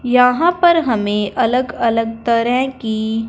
यहां पर हमें अलग अलग तरह की--